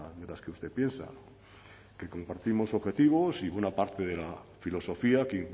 de las que usted piensa que compartimos objetivos y buena parte de la filosofía que